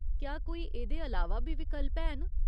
क्या कोई एह्दे अलावा बी विकल्प हैन ?